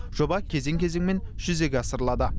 жоба кезең кезеңмен жүзеге асырылады